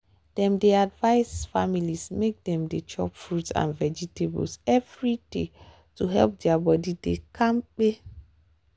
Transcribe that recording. dem dey advice families make dem dey chop fruit and vegetables every day to help their body dey kampe.